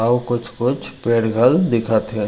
अऊ कुछ-कुछ पेड़ घल दिखा थे।